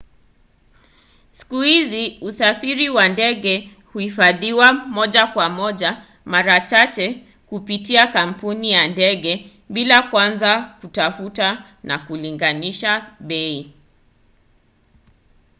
siku hizi usafiri wa ndege huhifadhiwa moja kwa moja mara chache kupitia kampuni ya ndege bila kwanza kutafuta na kulinganisha bei